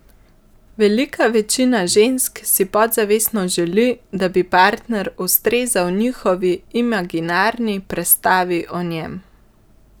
Velika večina žensk si podzavestno želi, da bi partner ustrezal njihovi imaginarni prestavi o njem.